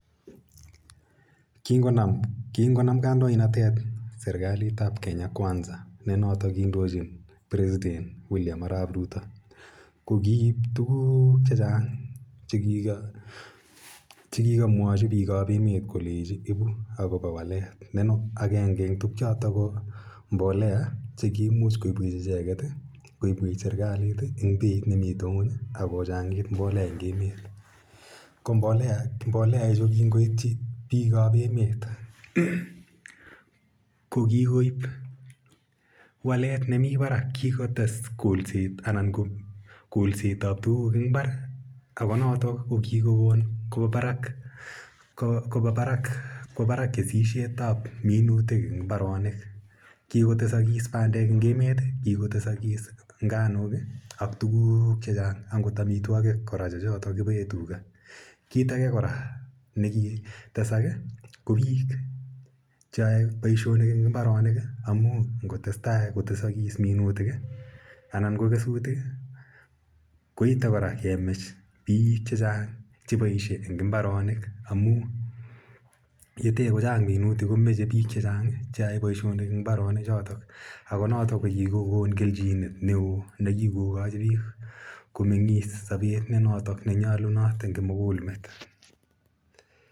Kingonam kandoinatet serikalit ap Kenya Kwanza, ne notok indochin President William Arap Ruto, ko kiip tuguk che chang' che ki kamwachi piik ap emet kolechi ipu akopa walet. Agenge eng' tugchotok ko mbolea che kiimuch icheget, koipwech serkalit eng' peit ne mitei ng'uny ak kochang'it mbolea eng' emet. Ko mbolea ichu kingoitchi piik ap emet, ko kikoip walet ne mi parak. Kikotes kolset ap tuguk eng' imbar ako notok ko kikokon kowa parak kesishet ap minutik eng' imbaronik. Kikotesakis pandek eng' emet, kikotesakis nganuk, ak tuguk che chang' angot amitwogik kora che chotok kipae tuga. Kiit age kora ne kitesak ko piik che yae poishonik eng' imbaronik amu ngo tes tai kotesakis minutik anan ko kesutik i, ko ite kora kemach piik che chang' che paishe eng' mbaronik amu ye te ko chang' minutik ko mache piik che chang' che yae poishonik eng' mbaronichotok ako notok ko kikokon kelchinet ne oo ne kiko kachi piik komeng'is sapet notok ne nyalunot eng' kimugul met.